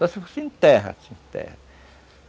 Só se fosse em terra, em terra.